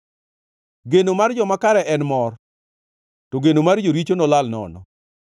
Geno mar joma kare en mor, to geno mar joricho nolal nono.